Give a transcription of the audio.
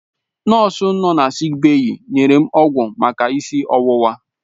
Nọọsụ nọ na sịịk bèyí nyere m ọgwụ maka isi ọwụwa.